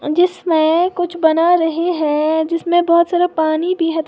जिसमे कुछ बना रहे है जिसमे बहुत सारा पानी भी है थो--